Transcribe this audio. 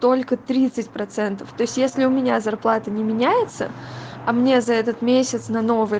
только тридцать процентов то есть если у меня зарплата не меняется а мне за этот месяц на новый